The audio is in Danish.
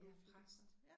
Jeg præst